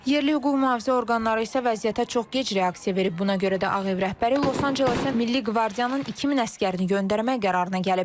Yerli hüquq mühafizə orqanları isə vəziyyətə çox gec reaksiya verib, buna görə də Ağ Ev rəhbəri Los Ancelesə Milli Qvardiyanın 2000 əsgərini göndərmək qərarına gəlib.